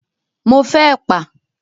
Mo fẹ́ ẹ̀pà.